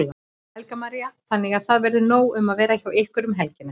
Helga María: Þannig að það verður nóg um að vera hjá ykkur um helgina?